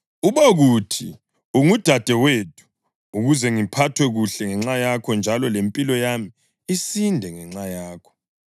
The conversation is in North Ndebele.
Ubokuthi ungudadewethu, ukuze ngiphathwe kuhle ngenxa yakho njalo lempilo yami isinde ngenxa yakho.”